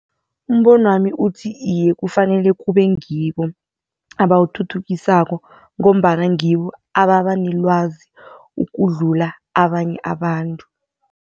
Umbonwami uthi iye kufanele kube ngibo abawuthuthukisako ngombana ngibo ababa nelwazi ukudlula abanye abantu.